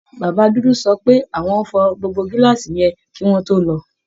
Bàbá dúdú sọ pé àwọn fọ gbogbo gíláàsì yẹn kí wọ́n tó lò ó